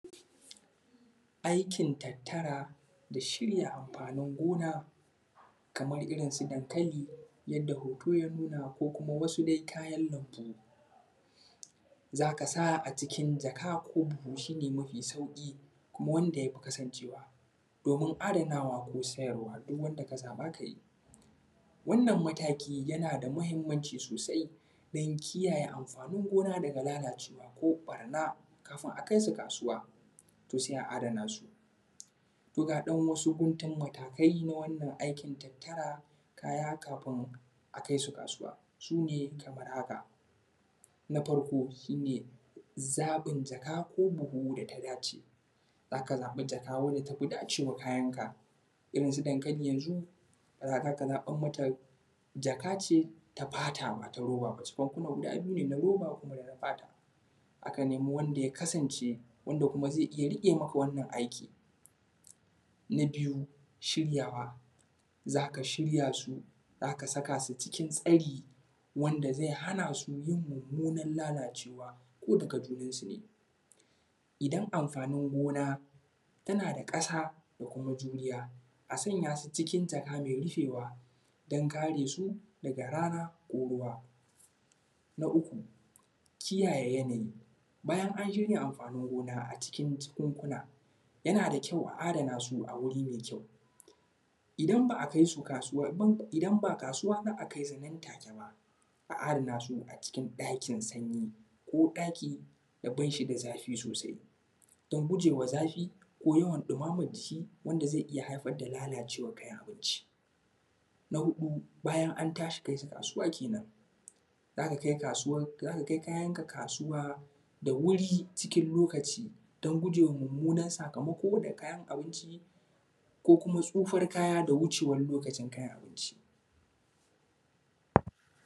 Aikin tattara da shirya amfanin gona, kamar irin su dankali, yadda hoto ya nuna ko kuma wasu dai kayan lambu. Zaka sa a cikin jaka ko buhu, shi ne mafi sauƙi kuma wanda yafi kasancewa, domin adanawa ko sayarwa duk wanda ka zaɓa kayi. Wanna mataki yana da mahimmanci sosai don kiyayye amfanin gona daga lalacewa, ka ɓarna kafin a kaisu kasuwa, to sai a adana su. To dan wasu guntun matakai na wannan aikin tattara kaya kafin a kaisu kasuwa, sune kamar haka: Na farko shi ne zaɓin jaka ko buhu data dace, zaka zaɓi jaka wanda tafi dacewa kayanka, irin su dankali yanzu zaka zaɓan mata jaka ce ta fata bata roba ba, jakunku nan guda biyu ne ta roba kona fata, akan nemi wanda ya kasance wanda kuma zai iya riƙe maka wannan aiki. Na biyu shiryawa; zaka shiryasu, zaka saka su cikın tsari wanda zai hanasu yin mummunan lalacewa ko daga junansu ne, idan amfanin gona tana da ƙasa da kuma juriya a sanya su cikin jaka mai rufewa don kare su daga rana ko ruwa. Na uku, kiyayye yanayi, bayan an shirya amfanin gona a cikin jakunkuna yana da kyau a adana su a wuri mai kyau, idan ba a kai su kasuwa, idan ba kasuwa za a kaisu ba nan take ba, a adanasu a cikin ɗakin sanyi, ko ɗaki da bashi da zafi sosai, don gujewa zafi ko yawan dimaman jiki wanda zai iya haifar da lalacewan kayan abinci. Na huɗu, bayan an tashi kaisu kasuwa kenen, zaka kasuwan, zaka kai kayanka kasuwa da wuri cikin lokaci don gujewa mummunan sakamako da kayan abinci, ko kuma tsufar kaya da wucewan lokacin kayan abinci.